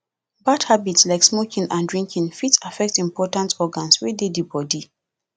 bad habit like smoking and drinking fit affect important organs wey dey di body